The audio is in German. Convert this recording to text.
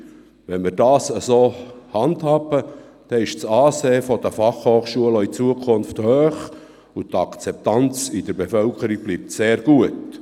Wenn wir das entsprechend handhaben, ist das Ansehen der Fachhochschulen auch in Zukunft hoch, und die Akzeptanz in der Bevölkerung bleibt sehr gut.